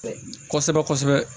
Kɔsɛbɛ kɔsɛbɛ